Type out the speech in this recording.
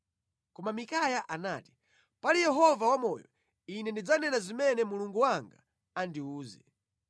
Koma Mikaya anati, “Pali Yehova wamoyo, ine ndidzanena zimene Mulungu wanga andiwuze.”